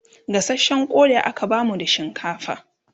gasashen Koda aka bamu da shinkafa